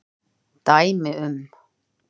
Dæmi um